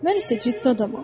Mən isə ciddi adamam.